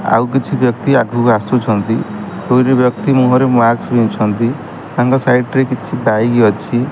ଆଉ କିଛି ବ୍ୟକ୍ତି ଆଗକୁ ଆସୁଛନ୍ତି ଦୁଇଟି ବ୍ୟକ୍ତି ମୁହଁ ରେ ମାସ୍କ ପିନ୍ଧିଛନ୍ତି ତଙ୍କ ସାଇଡରେ କିଛି ଡାଇରୀ ଅଛି।